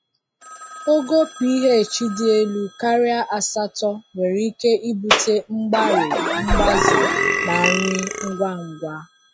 Ogo pH dị elu karịa asatọ nwere ike ibute mgbari mgbaze na nri ngwa ngwa.